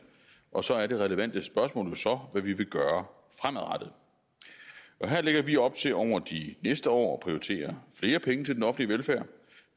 og så er det relevante spørgsmål jo hvad vi vil gøre fremadrettet her lægger vi op til over de næste år at prioritere flere penge til den offentlige velfærd